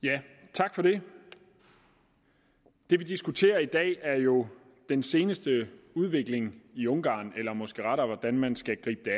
tak for det det vi diskuterer i dag er jo den seneste udvikling i ungarn eller måske rettere hvordan man skal gribe det